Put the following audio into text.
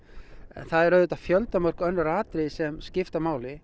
en það eru auðvitað fjöldamörg önnur atriði sem skipta máli